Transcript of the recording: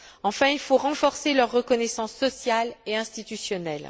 Enfin, il faut renforcer leur reconnaissance sociale et institutionnelle.